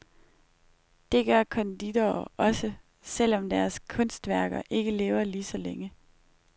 Det gør konditorer også, selv om deres kunstværker ikke lever lige så længe.